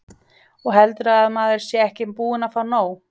Og heldurðu að maður sé ekki búinn að fá nóg?